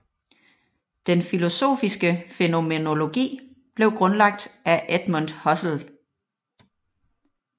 Den filosofiske fænomenologi blev grundlagt af Edmund Husserl